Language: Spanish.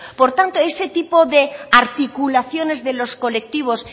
por tanto ese tipo de articulaciones de los colectivos